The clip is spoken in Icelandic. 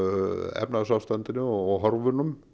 efnahagsástandinu og horfunum